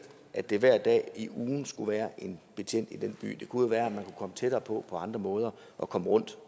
at der hver dag i ugen skulle være en betjent i den by det kunne jo være at man kunne komme tættere på andre måder og komme rundt